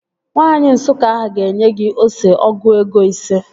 Nwaanyi Nsụka ahụ ga-enye gị ose ọgụ ego ise